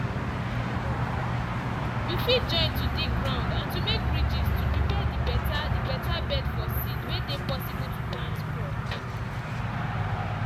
you fit join to dig ground and to make ridges to prepare the beta the beta bed for seed way dey possible to plant crop.